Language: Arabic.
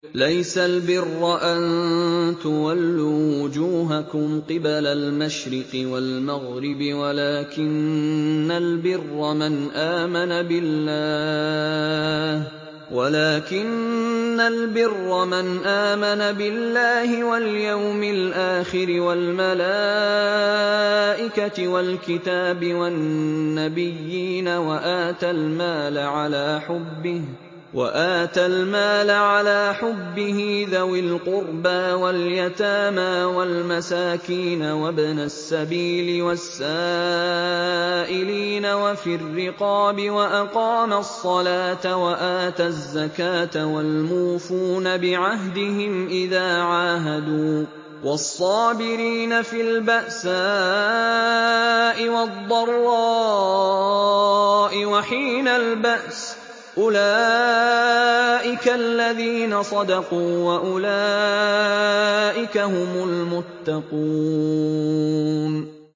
۞ لَّيْسَ الْبِرَّ أَن تُوَلُّوا وُجُوهَكُمْ قِبَلَ الْمَشْرِقِ وَالْمَغْرِبِ وَلَٰكِنَّ الْبِرَّ مَنْ آمَنَ بِاللَّهِ وَالْيَوْمِ الْآخِرِ وَالْمَلَائِكَةِ وَالْكِتَابِ وَالنَّبِيِّينَ وَآتَى الْمَالَ عَلَىٰ حُبِّهِ ذَوِي الْقُرْبَىٰ وَالْيَتَامَىٰ وَالْمَسَاكِينَ وَابْنَ السَّبِيلِ وَالسَّائِلِينَ وَفِي الرِّقَابِ وَأَقَامَ الصَّلَاةَ وَآتَى الزَّكَاةَ وَالْمُوفُونَ بِعَهْدِهِمْ إِذَا عَاهَدُوا ۖ وَالصَّابِرِينَ فِي الْبَأْسَاءِ وَالضَّرَّاءِ وَحِينَ الْبَأْسِ ۗ أُولَٰئِكَ الَّذِينَ صَدَقُوا ۖ وَأُولَٰئِكَ هُمُ الْمُتَّقُونَ